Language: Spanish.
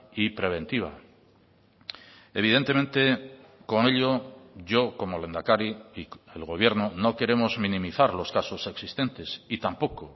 y preventiva evidentemente con ello yo como lehendakari y el gobierno no queremos minimizar los casos existentes y tampoco